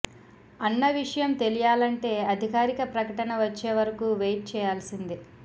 అన్న విషయం తెలియాలంటే అధికారిక ప్రకటన వచ్చే వరకు వెయిట్ చేయాల్సిందే